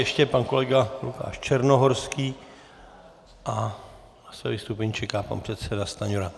Ještě pan kolega Lukáš Černohorský a na své vystoupení čeká pan předseda Stanjura.